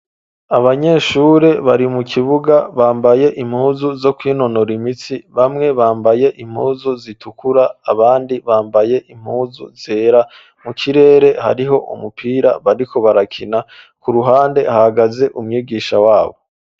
Abanyeshure bari mu kibuga bambaye impuzu zo kwinonora imitsi, bamwe bambaye impuzu zitukura abandi bambaye impuzu zera. Mu kirere hariho umupira bariko barakina. K'uruhande hagaze umwigisha w'abo.